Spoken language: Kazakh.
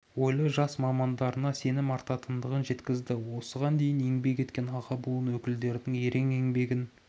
ойлы жас мамандарына сенім артатындығын жеткізді осыған дейін еңбек еткен аға буын өкілдерінің ерен еңбегін